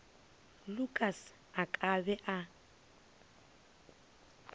lukas a ka be a